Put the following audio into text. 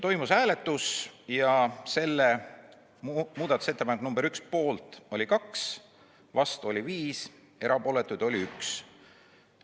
Toimus hääletus ja muudatusettepanek nr 1 poolt oli 2, vastu oli 5, erapooletuid oli 1.